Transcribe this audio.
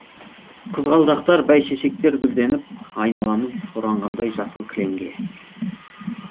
қызғалдақтар бәйшешектер гүлденіп айналамыз оранғандай жасыл кілемге